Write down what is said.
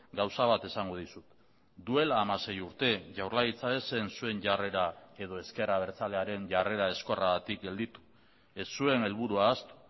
gauza bat esango dizut duela hamasei urte jaurlaritza ez zen zuen jarrera edo ezker abertzalearen jarrera ezkorragatik gelditu ez zuen helburua ahaztu